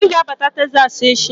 Anyi ga-abata Teksas echi.